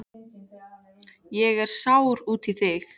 Ég er sár út í þig.